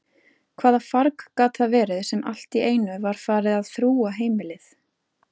Hvaða farg gat það verið sem alltíeinu var farið að þrúga heimilið?